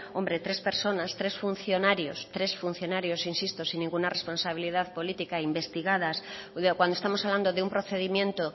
hombre tres personas tres funcionarios tres funcionarios insisto sin ninguna responsabilidad política investigadas cuando estamos hablando de un procedimiento